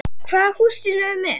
Hvaða húsdýr eru þið með?